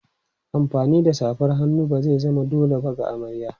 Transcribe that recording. Amfani da safar hannu bai zama dole ba ga amarya.